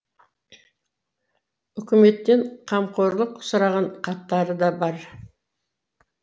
үкіметтен қамқорлық сұраған хаттары да бар